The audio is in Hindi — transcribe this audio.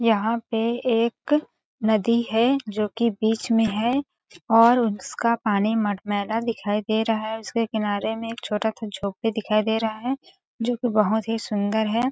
यहाँ पे एक नदी है जो की बीच में है और उसका पानी मटमैला दिखाई दे रहा है उसके किनारे में एक छोटा सा झोपड़ी दिखाई दे रहा है जो की बहुत ही सुंदर है।